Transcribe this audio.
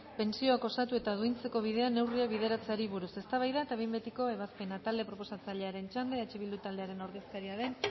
pentsioak osatu eta duintzeko bidean neurriak bideratzeari buruz eztabaida eta behin betiko ebazpena talde proposatzailearen txanda eh bildu taldearen ordezkaria den